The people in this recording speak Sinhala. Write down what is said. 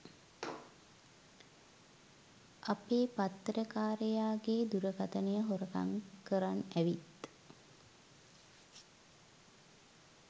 අපේ පත්තර කාරයාගේ දුරකථනය හොරකම් කරන් ඇවිත්